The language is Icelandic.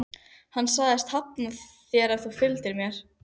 Hann sagðist hafna þér ef þú fylgdir mér.